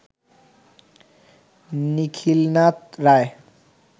Nikhilnath Roy